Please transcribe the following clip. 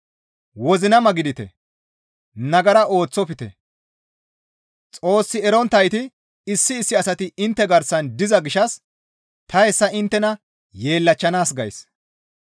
Wozinama gidite; nagara ooththofte; Xoos eronttayti issi issi asati intte garsan diza gishshas ta hessa inttena yeellachchanaas gays.